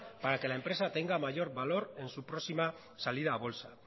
para que la empresa tenga mayor valor para su próxima salida a bolsa